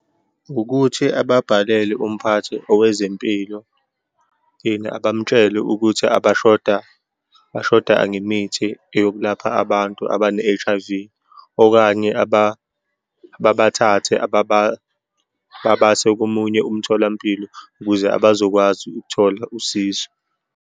Ukuthi ababhalele umphathi owezempilo, bamutshele ukuthi abashoda, bashoda ngemithi yokulapha abantu abane-H_I_V, okanye bathathe babase komunye umtholampilo ukuze bazokwazi ukuthola usizo.